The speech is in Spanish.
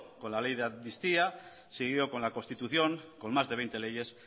con la ley de amnistía seguido con la constitución con más de veinte leyes